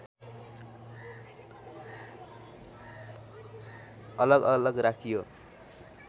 अलग अलग राखियो